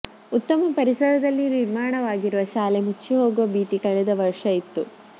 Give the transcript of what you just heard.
ಉತ್ತಮ ಪರಿಸರದಲ್ಲಿ ನಿರ್ಮಾಣವಾಗಿರುವ ಶಾಲೆ ಮುಚ್ಚಿಹೋಗುವ ಭೀತಿ ಕಳೆದ ವರ್ಷ ಇತ್ತು